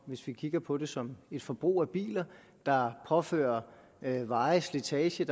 hvis vi kigger på det som et forbrug af biler påfører veje slitage